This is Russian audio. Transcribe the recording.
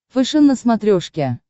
фэшен на смотрешке